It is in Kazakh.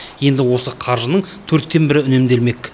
енді осы қаржының төрттен бірі үнемделмек